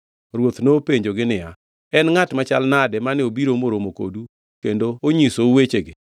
Ruoth nopenjogi niya, “En ngʼat machal nade mane obiro moromo kodu kendo onyisou wechegi?”